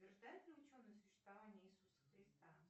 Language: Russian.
подтверждают ли ученые существование иисуса христа